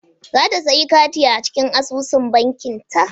Za ta sayi kati daga asusun bankinta.